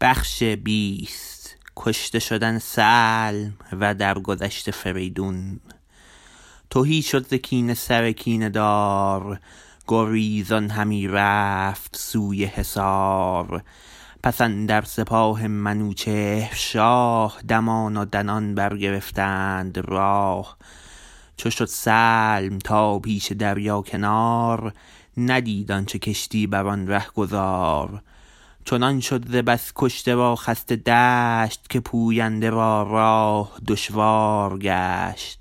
تهی شد ز کینه سر کینه دار گریزان همی رفت سوی حصار پس اندر سپاه منوچهر شاه دمان و دنان برگرفتند راه چو شد سلم تا پیش دریا کنار ندید آنچه کشتی برآن رهگذار چنان شد ز بس کشته و خسته دشت که پوینده را راه دشوار گشت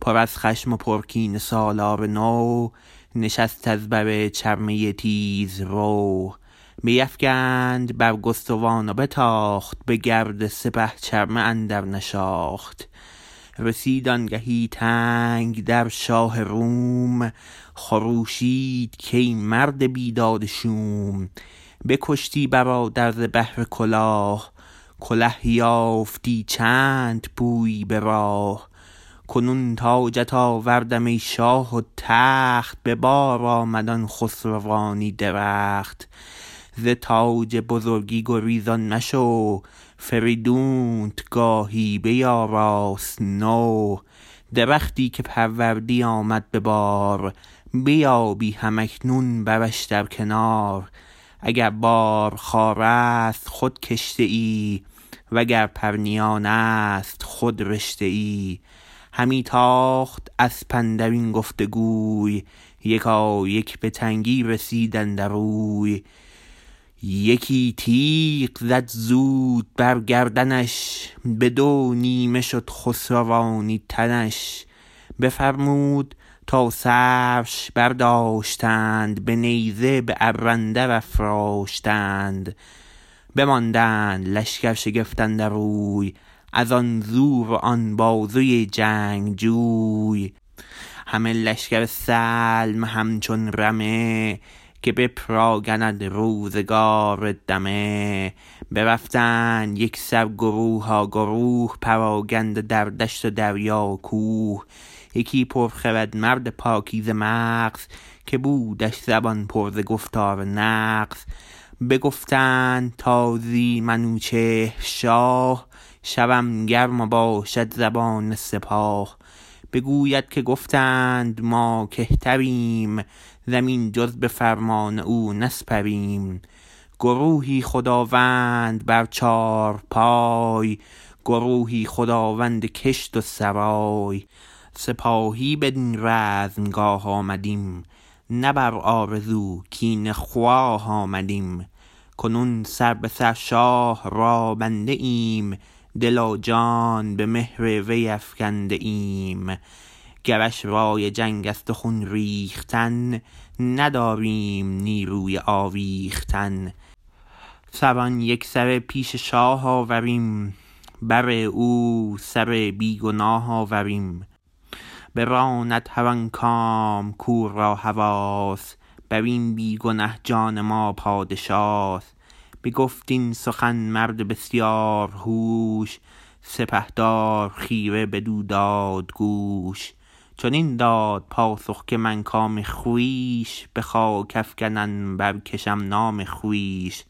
پر از خشم و پر کینه سالار نو نشست از بر چرمه تیزرو بیفگند برگستوان و بتاخت به گرد سپه چرمه اندر نشاخت رسید آنگهی تنگ در شاه روم خروشید کای مرد بیداد شوم بکشتی برادر ز بهر کلاه کله یافتی چند پویی براه کنون تاجت آوردم ای شاه و تخت به بار آمد آن خسروانی درخت زتاج بزرگی گریزان مشو فریدونت گاهی بیاراست نو درختی که پروردی آمد به بار بیابی هم اکنون برش در کنار اگر بار خارست خود کشته ای و گر پرنیانست خود رشته ای همی تاخت اسپ اندرین گفت گوی یکایک به تنگی رسید اندر اوی یکی تیغ زد زود بر گردنش بدو نیمه شد خسروانی تنش بفرمود تا سرش برداشتند به نیزه به ابر اندر افراشتند بماندند لشکر شگفت اندر اوی ازان زور و آن بازوی جنگجوی همه لشکر سلم همچون رمه که بپراگند روزگار دمه برفتند یکسر گروها گروه پراگنده در دشت و دریا و کوه یکی پرخرد مرد پاکیزه مغز که بودش زبان پر ز گفتار نغز بگفتند تا زی منوچهر شاه شود گرم و باشد زبان سپاه بگوید که گفتند ما کهتریم زمین جز به فرمان او نسپریم گروهی خداوند بر چارپای گروهی خداوند کشت و سرای سپاهی بدین رزمگاه آمدیم نه بر آرزو کینه خواه آمدیم کنون سر به سر شاه را بنده ایم دل و جان به مهر وی آگنده ایم گرش رای جنگ است و خون ریختن نداریم نیروی آویختن سران یکسره پیش شاه آوریم بر او سر بیگناه آوریم براند هر آن کام کو را هواست برین بیگنه جان ما پادشاست بگفت این سخن مرد بسیار هوش سپهدار خیره بدو دادگوش چنین داد پاسخ که من کام خویش به خاک افگنم برکشم نام خویش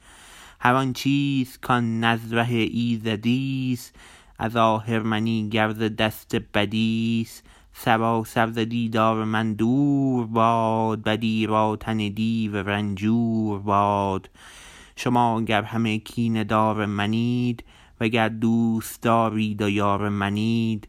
هر آن چیز کان نز ره ایزدیست از آهرمنی گر ز دست بدیست سراسر ز دیدار من دور باد بدی را تن دیو رنجور باد شما گر همه کینه دار منید وگر دوستدارید و یار منید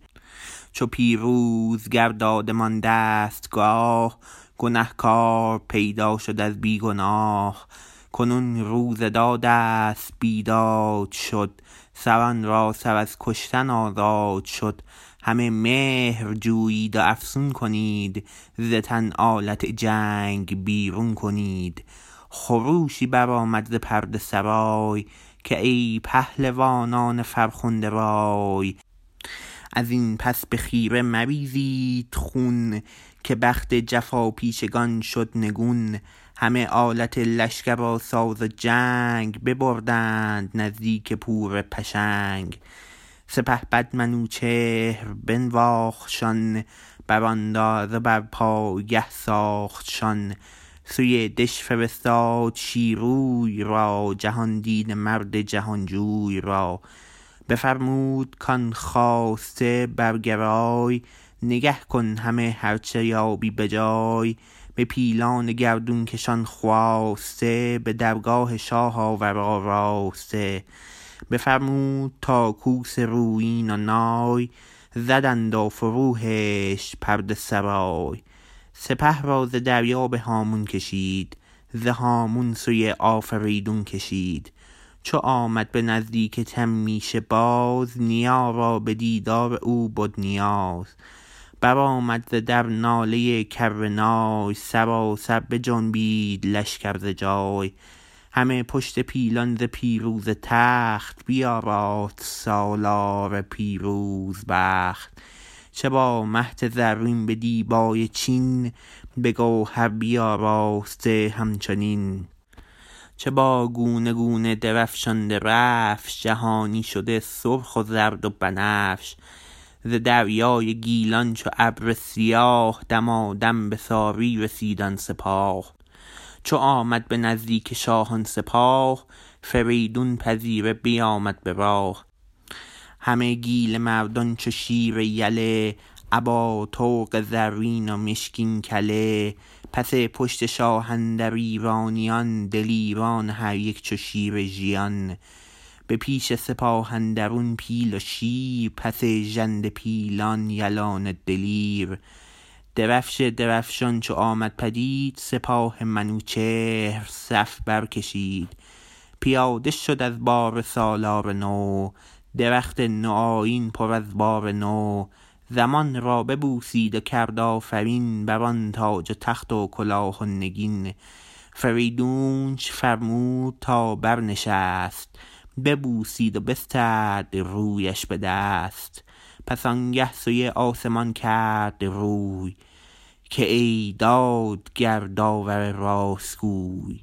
چو پیروزگر دادمان دستگاه گنه کار پیدا شد از بی گناه کنون روز دادست بیداد شد سران را سر از کشتن آزاد شد همه مهر جویید و افسون کنید ز تن آلت جنگ بیرون کنید خروشی بر آمد ز پرده سرای که ای پهلوانان فرخنده رای ازین پس به خیره مریزید خون که بخت جفاپیشگان شد نگون همه آلت لشکر و ساز جنگ ببردند نزدیک پور پشنگ سپهبد منوچهر بنواختشان براندازه بر پایگه ساختشان سوی دژ فرستاد شیروی را جهاندیده مرد جهانجوی را بفرمود کان خواسته برگرای نگه کن همه هر چه یابی به جای به پیلان گردونکش آن خواسته به درگاه شاه آور آراسته بفرمود تا کوس رویین و نای زدند و فرو هشت پرده سرای سپه را ز دریا به هامون کشید ز هامون سوی آفریدون کشید چو آمد به نزدیک تمیشه باز نیا را بدیدار او بد نیاز برآمد ز در ناله کر نای سراسر بجنبید لشکر ز جای همه پشت پیلان ز پیروزه تخت بیاراست سالار پیروز بخت چه با مهد زرین به دیبای چین بگوهر بیاراسته همچنین چه با گونه گونه درفشان درفش جهانی شده سرخ و زرد و بنفش ز دریای گیلان چو ابر سیاه دمادم بساری رسید آن سپاه چو آمد بنزدیک شاه آن سپاه فریدون پذیره بیامد براه همه گیل مردان چو شیر یله ابا طوق زرین و مشکین کله پس پشت شاه اندر ایرانیان دلیران و هر یک چو شیر ژیان به پیش سپاه اندرون پیل و شیر پس ژنده پیلان یلان دلیر درفش درفشان چو آمد پدید سپاه منوچهر صف بر کشید پیاده شد از باره سالار نو درخت نوآیین پر از بار نو زمین را ببوسید و کرد آفرین بران تاج و تخت و کلاه و نگین فریدونش فرمود تا برنشست ببوسید و بسترد رویش به دست پس آنگه سوی آسمان کرد روی که ای دادگر داور راست گوی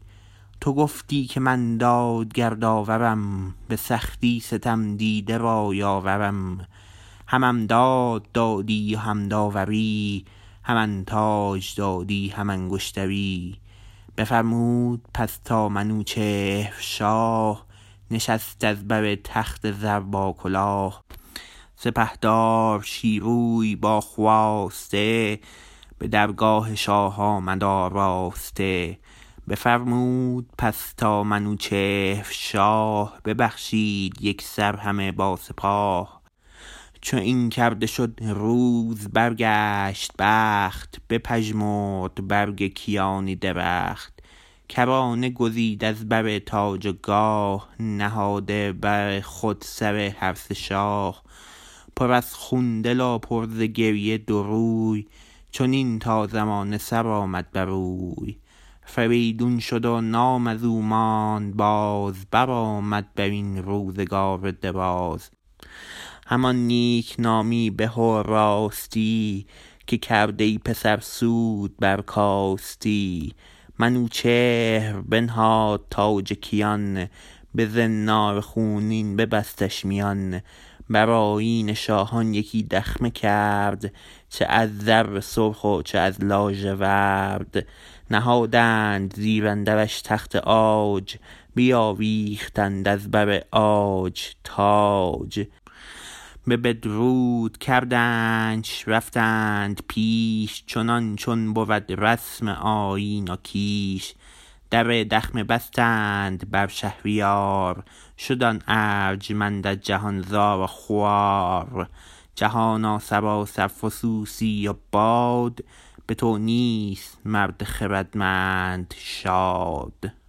تو گفتی که من دادگر داورم به سختی ستم دیده را یاورم همم داد دادی و هم داوری همم تاج دادی هم انگشتری بفرمود پس تا منوچهر شاه نشست از بر تخت زر با کلاه سپهدار شیروی با خواسته به درگاه شاه آمد آراسته بفرمود پس تا منوچهر شاه ببخشید یکسر همه با سپاه چو این کرده شد روز برگشت بخت بپژمرد برگ کیانی درخت کرانه گزید از بر تاج و گاه نهاده بر خود سر هر سه شاه پر از خون دل و پر ز گریه دو روی چنین تا زمانه سرآمد بروی فریدون شد و نام ازو ماند باز برآمد برین روزگار دراز همان نیکنامی به و راستی که کرد ای پسر سود برکاستی منوچهر بنهاد تاج کیان بزنار خونین ببستش میان برآیین شاهان یکی دخمه کرد چه از زر سرخ و چه از لاژورد نهادند زیر اندرش تخت عاج بیاویختند از بر عاج تاج بپدرود کردنش رفتند پیش چنان چون بود رسم آیین و کیش در دخمه بستند بر شهریار شد آن ارجمند از جهان زار و خوار جهانا سراسر فسوسی و باد بتو نیست مرد خردمند شاد